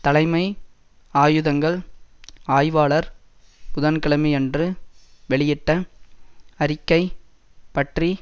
தலைமை ஆயுதங்கள் ஆய்வாளர் புதன்கிழமையன்று வெளியிட்ட அறிக்கை பற்றி